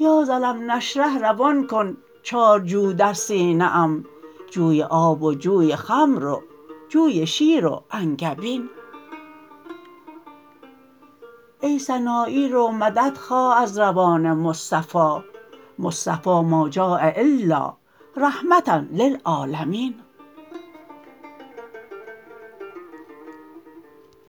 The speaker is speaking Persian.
یا ز الم نشرح روان کن چارجو در سینه ام جوی آب و جوی خمر و جوی شیر و انگبین ای سنایی رو مدد خواه از روان مصطفی مصطفی ما جاء الا رحمة للعالمین